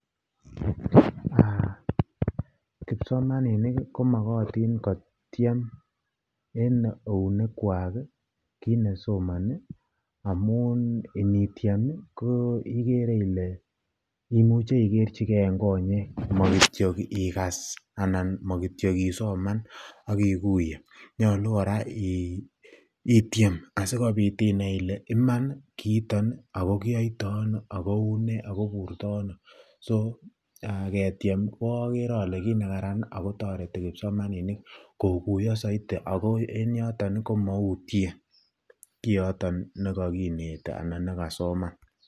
Kipsomaninik komakatin kotiem en eunek Kwak kit nesomani amun initiem igere Kole imuche igerchi en konyek makole kityo ikas makele kityo isoman akikuye akonyalu koraa item akonyalu koraa inai Kole Iman kiiton akokiyoitono akoburto Ani ketiem agere Kole kit nekararan akotareti kipsomaninik koguiyo saiti ako en yoton komautien kiyoton kakinete anan nekasoman